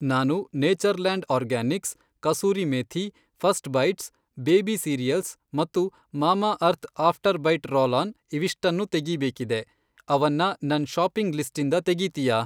ನಾನು Natureland organics, kasuri methi, first bites, baby cereals ಮತ್ತು Mamaearth after bite roll on ಇವಿಷ್ಟನ್ನೂ ತೆಗೀಬೇಕಿದೆ, ಅವನ್ನ ನನ್ ಷಾಪಿಂಗ್ ಲಿಸ್ಟಿಂದ ತೆಗೀತೀಯಾ?